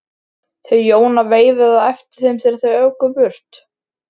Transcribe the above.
Þau Jóna veifuðu á eftir þeim þegar þau óku burt.